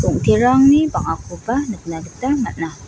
ong·terangni bang·akoba nikna gita man·a.